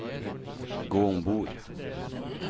gå ombord